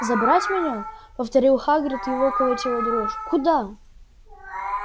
забрать меня повторил хагрид его колотила дрожь куда